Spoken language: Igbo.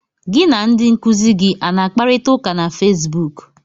Gị na ndị nkuzi gị a na-akparịta ụka na Fesbuk?